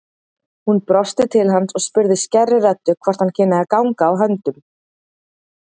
Hún brosti til hans og spurði skærri röddu hvort hann kynni að ganga á höndum.